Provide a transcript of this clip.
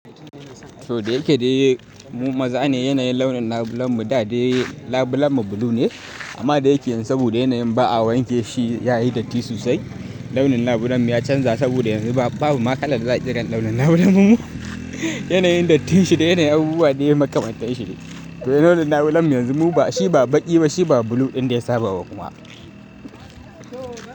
Saboda yake dai mu maza ne yanayin launin labulen mu da dai labulen mu blue ne amma da yake saboda yanayin ba a wanke shi yayi datti sosai. Launin labulen mu ya canza saboda yanzu babu ma kala da za a kira launin labulen mu. Yanayin dattin shi da yanayin abubuwa ne ya makamanta shi. Sai launin labulen mu yanzu shi ba baki ba shi ba blue ɗin da ya saba ba kuma.